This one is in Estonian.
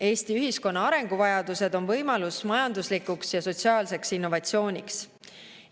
Eesti ühiskonna arenguvajadused on võimalus majanduslikuks ja sotsiaalseks innovatsiooniks.